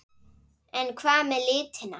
En hvað með litina?